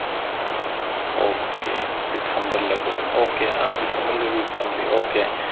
okay ഡിസംബറിലാ പോയത് okay ആ ഡിസംബറിൽ recently okay